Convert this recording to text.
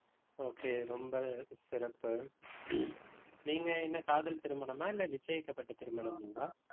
okay ரொம்ப சிறப்பு. நீங்க என்ன, காதல் திருமணமா இல்லை, நிச்சயிக்கப்பட்ட திருமணங்களா